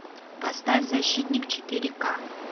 поставь защитник четыре к